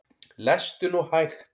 Lestu nú hægt!